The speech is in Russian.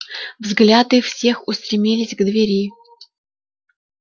взгляд их всех устремились к двери